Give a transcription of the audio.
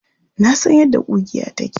Na san yadda ƙugiya take.